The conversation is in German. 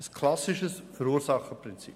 Das ist das klassische Verursacherprinzip.